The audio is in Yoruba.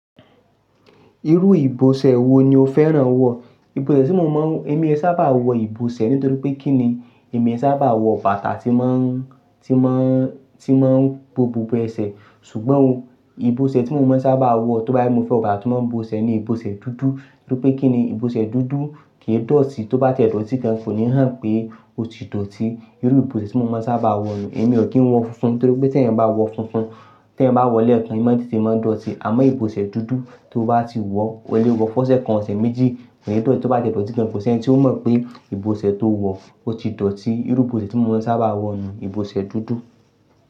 Irú ìbòṣẹ́ wo ni o fẹ́ran wọ̀? Ìbòṣẹ́ tí mo máa ń, èmi ẹ sábà wọ ìbòṣẹ́ nítorí pé kí ni èmi ẹ sábà wọ bàtà tí máa ń, tí máa ń, tí máa ń bo gbogbo ẹsẹ̀. Ṣùgbọ́n o ìbòṣẹ́ tí mo máa ń sábà wọ̀ tó bá yẹ kó mo fẹ́ ọba tí máa ń bo ẹsẹ̀ ni ìbòṣẹ́ dúdú nítorí pé kí ni ìbòṣẹ́ dúdú kì í dọ̀tí, tó bá ti dọ̀tí kan kò ní hàn pé ó ti dọ̀tí. Irú ìbòṣẹ́ tí mo máa ń sábà wọ yẹn. Èmi ò kí ń wọ funfun nítorí pé tí ẹ̀yin bá wọ funfun, tí ẹ̀yin bá wọ̀ọ́ lẹ́ẹ̀kan, imọ́ titẹ máa dọ̀tí. Àmọ́ ìbòṣẹ́ dúdú tí o bá ti wọ, o le wọ fọsẹ̀ kan, ọ̀sẹ̀ méjì, kí n dọ̀tí, tó bá ti dọ̀tí kan kò sí ẹni tí ó mọ̀ pé ìbòṣẹ́ tó wọ ó ti dọ̀tí. Irú ìbòṣẹ́ tí mo máa ń sábà wọ nìyẹn, ìbòṣẹ́ dúdú.